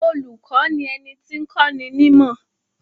Olùkọ́ ni ẹni tí ń kọ́ni nímọ̀.